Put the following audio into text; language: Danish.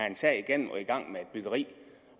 en sag igennem og er i gang med et byggeri